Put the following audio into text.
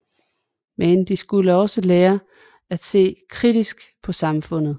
Men de skulle også lære at se kritisk på samfundet